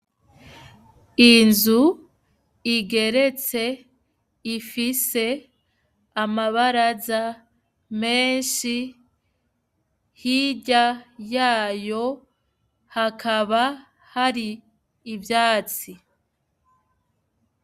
Inzu igeretse, ifise amabaraza menshi. Hirya yayo hakaba hari ivyatsi.